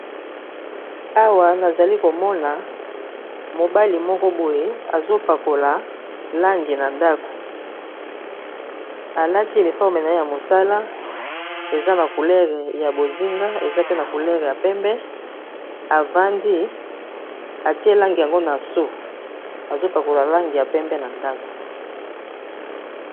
Awa, na zali komona, mobali moko boye azo pakola langi na ndako. Alati uniforme na ye ya mosala, eza na coulere ya bozinga, eza pe na coulere ya pembe. Avandi atie langi yango na so. Azo pakola langi ya pembe na ndako.